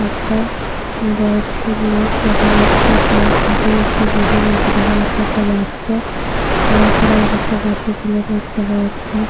একটা বয়ষ্ক লোক দেখা যাচ্ছে। তার মাথায় একটা ঝুড়ি রয়েছে দেখা যাচ্ছে। একটা বাচ্চা ছেলের পরে একটা বাচ্চা ছেলে রয়েছে দেখা যাচ্ছে।